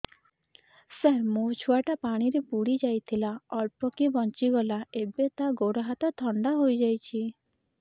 ସାର ମୋ ଛୁଆ ଟା କାଲି ପାଣି ରେ ବୁଡି ଯାଇଥିଲା ଅଳ୍ପ କି ବଞ୍ଚି ଗଲା ଏବେ ତା ଗୋଡ଼ ହାତ ଥଣ୍ଡା ହେଇଯାଉଛି